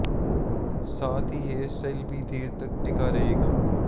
साथ ही hair style भी देर तक टिका रहेगा